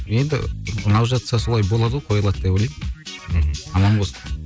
енді ұнап жатса солай болады ғой қойылады деп ойлаймын мхм аман болсын